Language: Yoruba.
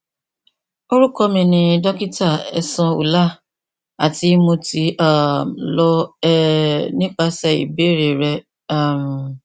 orukọ mi ni dokita ehsan ullah ati mo ti um lọ um nipasẹ ibeere rẹ um